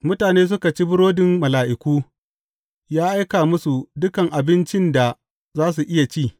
Mutane suka ci burodin mala’iku; ya aika musu dukan abincin da za su iya ci.